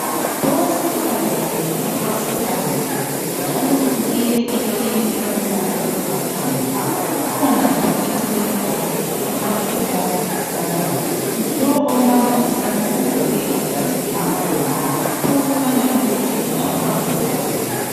Owesifazana ohlezi phansi njalo uqhiye iqhiye elombala olithanga kukhona njalo eceleni kwakhe okukhanya embamba isandla lo ombamba isandla ugqoke ijazi elimhlophe okukhanya ukuthi kungaba ngudokotela.